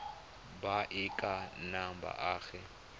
ba e ka nnang baagi